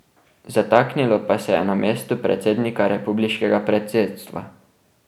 Zataknilo pa se je na mestu predsednika republiškega predsedstva.